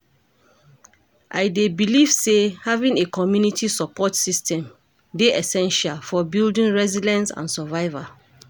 I dey believe say having a community support system dey essential for building resilience and survival.